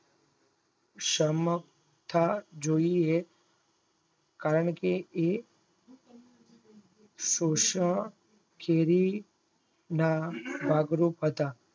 સમર્થ જોઈએ કારણકે એ સોસ ખેરી ન બગ્રોટ હતા